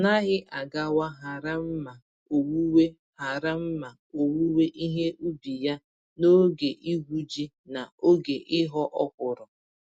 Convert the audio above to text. Ọnaghị agawa hara mma owuwe hara mma owuwe ihe ubi ya n'oge igwu-ji na oge ịghọ ọkwụrụ.